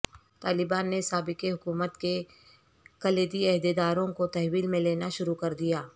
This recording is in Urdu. طالبان نے سابق حکومت کے کلیدی عہدے داروں کوتحویل میں لینا شروع کر دیا